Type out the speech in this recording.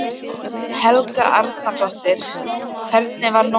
Helga Arnardóttir: Hvernig var nóttin?